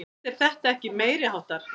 Finnst þér þetta ekki meiriháttar?